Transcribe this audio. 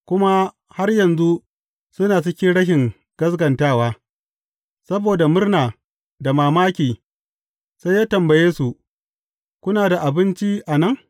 Kuma har yanzu, suna cikin rashin gaskatawa, saboda murna da mamaki, sai ya tambaye su, Kuna da abinci a nan?